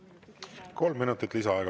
Palun kolm minutit lisaaega.